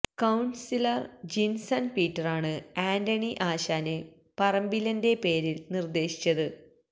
councillor Jinson പീറ്ററാണ് ആന്റണി ആശാന് പറമ്പിലിന്റെ പേര് നിര്ദേശിച്ചത്